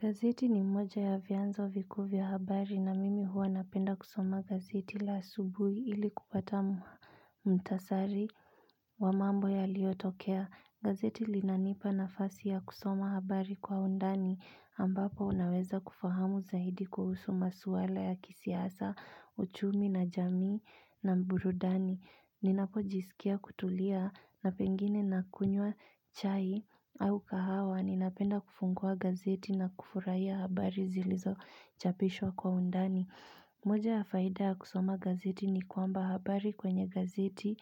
Gazeti ni moja ya vyanzo vikuu vya habari na mimi huwa napenda kusoma gazeti la asubuhi ili kupata mhu, mhitasari wa mambo yaliyotokea. Gazeti linanipa nafasi ya kusoma habari kwa undani ambapo naweza kufahamu zaidi kuhusu masuala ya kisiasa, uchumi na jamii na burudani. Ninapojisikia kutulia na pengine nakunywa chai au kahawa ninapenda kufungua gazeti na kufurahia habari zilizochapishwa kwa undani. Moja ya faida ya kusoma gazeti ni kwamba habari kwenye gazeti,